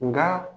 Nka